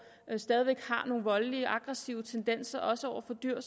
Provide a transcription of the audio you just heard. har nogle voldelige og aggressive tendenser også over for dyr